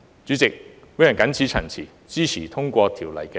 主席，我謹此陳辭，支持通過《條例草案》二讀。